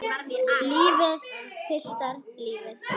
Lífið, piltar, lífið.